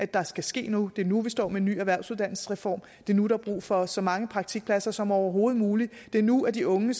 der skal ske noget det er nu vi står med en ny erhvervsuddannelsesreform det er nu der er brug for så mange praktikpladser som overhovedet muligt det er nu at de unge